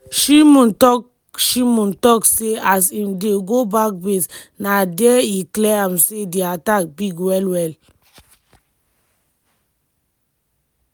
shimon tok shimon tok say as im dey go back base na dia e clear am say di attack big well-well.